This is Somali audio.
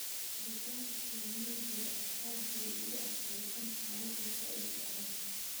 Digaaga kienyejidha ah aad bay ugu adkeystaan xaladhaa zaiid u adag.